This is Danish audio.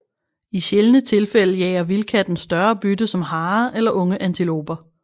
I sjældne tilfælde jager vildkatten større bytte som harer eller unge antiloper